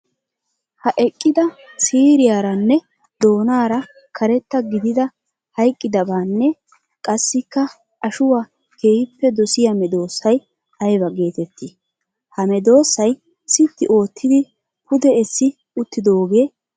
Ha eqqida siiriyaranne doonara karetta gididda hayqqidabanne qassikka ashuwaa keehippe dosiya medosay aybba geetetti? Ha medosay sitti ootiddi pude essi uttidoge aybee?